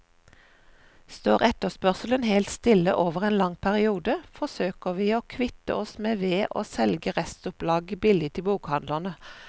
Står etterspørselen helt stille over en lang periode, forsøker vi å kvitte oss med ved å selge restopplaget billig til bokhandlene.